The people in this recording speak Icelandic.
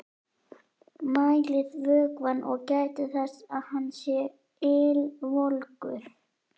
Mælið vökvann og gætið þess að hann sé ylvolgur.